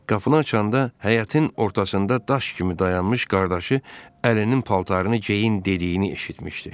Qapını açanda həyətin ortasında daş kimi dayanmış qardaşı əlinin paltarını geyin dediyini eşitmişdi.